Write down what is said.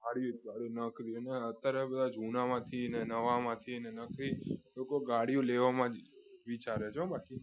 ગાડીઓ ગાડીઓ ગાડીઓ અત્યારે બધા જૂનામાંથી અને નવા માંથી લોકો ગાળો લેવામાં આવશે વિચારે છે હો બાકી